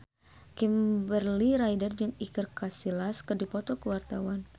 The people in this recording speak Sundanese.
Kimberly Ryder jeung Iker Casillas keur dipoto ku wartawan